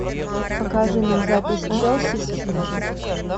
покажи нам запись челси с сити